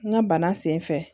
N ka bana sen fɛ